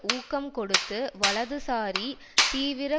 ஊக்கம் கொடுத்து வலதுசாரி தீவிர